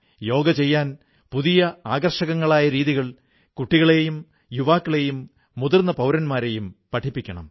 യോഗ ചെയ്യാൻ പുതിയ ആകർഷകങ്ങളായ രീതികളിൽ കുട്ടികളെയും യുവാക്കളെയും മുതിർന്ന പൌരന്മാരെയും പ്രേരിപ്പിക്കണം